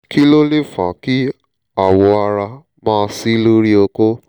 kí ló lè fa kí awọ ara máa ṣí lórí okó?